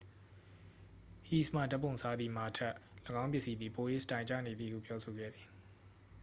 ဟိတ်စ်မှ ဓာတ်ပုံစားသည့် မာထက် ၎င်းပစ္စည်းသည် ပို၍ စတိုင်ကျနေသည်ဟု ပြောဆိုခဲ့သည်